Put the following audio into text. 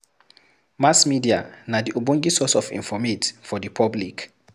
Mass media na the ogbenge source of informate for the public